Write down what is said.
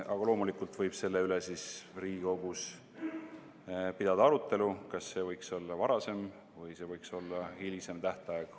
Aga loomulikult võib selle üle Riigikogus pidada arutelu, kas see tähtaeg võiks olla varasem või see võiks olla hilisem.